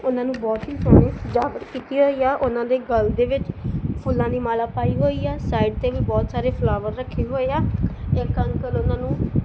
ਉਹਨਾਂ ਨੂੰ ਬਹੁਤ ਹੀ ਸੋਹਣੀ ਸਜਾਵਟ ਕੀਤੀ ਹੋਈ ਆ ਉਹਨਾਂ ਦੇ ਗੱਲ ਦੇ ਵਿੱਚ ਫੁੱਲਾਂ ਦੀ ਮਾਲਾ ਪਾਈ ਹੋਈ ਐ ਸਾਈਡ ਤੇ ਵੀ ਬਹੁਤ ਸਾਰੇ ਫਲਾਵਰ ਰੱਖੇ ਹੋਏ ਆ ਇੱਕ ਅੰਕਲ ਉਹਨਾਂ ਨੂੰ --